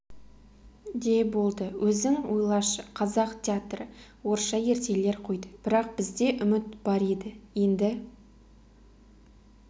де болды өзің ойлашы қазақ театры орысша ертегілер қойды бірақ бізде үміт бар еді енді